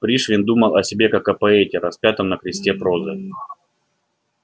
пришвин думал о себе как о поэте распятом на кресте прозы